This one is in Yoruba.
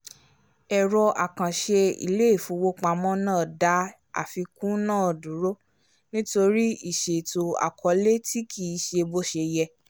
ẹ̀rọ àkànṣe ilé-ìfowópamó náà dá àfikún náà dúró nítorí ìṣètò àkọọlẹ tí kì í ṣe bó ṣe yẹ